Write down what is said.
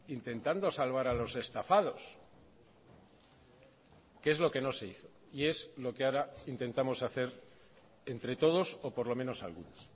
intentando salvar a los estafados que es lo que no se hizo y es lo que ahora intentamos hacer entre todos o por lo menos algunos